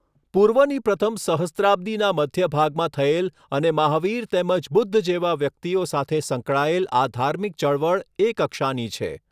પૂર્વની પ્રથમ સહસ્ત્રાબ્દિના મધ્યભાગમાં થયેલ અને મહાવીર તેમજ બુધ્ધ જેવા વ્યકિતઓ સાથે સંકળાયેલ આ ધાર્મિક ચળવળ એ કક્ષાની છે.